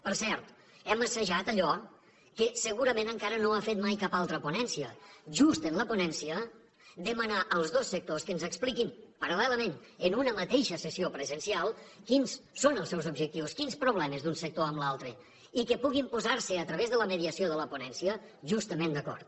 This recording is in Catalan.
per cert hem assajat allò que segurament encara no ha fet mai cap altra ponència just en la ponència demanar als dos sectors que ens expliquin paral·lelament en una mateixa sessió presencial quins són els seus objectius quins problemes d’un sector amb l’altre i que puguin posar se a través de la mediació de la ponència justament d’acord